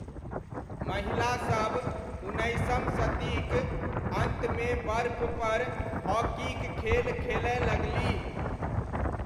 महिलासब उन्नैसम शतीक अन्तमे बर्फपर हॉकीक खेल खेलय लगलीह।